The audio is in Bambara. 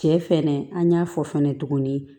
Cɛ fɛnɛ an y'a fɔ fɛnɛ tuguni